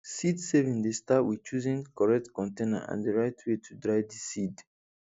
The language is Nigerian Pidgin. seedsaving dey start with choosing correct container and the right way to dry the seed